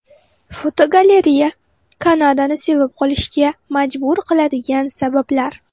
Fotogalereya: Kanadani sevib qolishga majbur qiladigan sabablar.